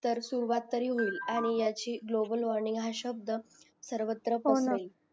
तर सुरवात होईल आणि ह्याची ग्लोबल वॉर्मिंग हा शब्ध सर्वत्र पसरेल